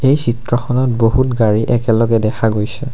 এই চিত্ৰখনত বহুত গাড়ী একেলগে দেখা গৈছে।